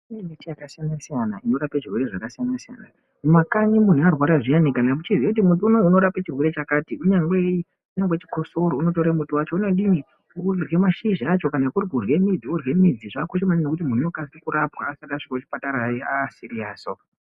Kune miti yakasiyana siyana inorape zvirwere zvakasiyana siyana. Mumakanyi munhu arwara zviyani kana muchiziya kuti muti unou unorape chirwere chakati kunyangwe chikosoro unotore muti wacho wodini, orya mashizha acho kana kuri kurye midzi orya midzi yacho. Zvakakosha maningi kuti munhu arapwe asati asvika kuchipatara aasiriyasi.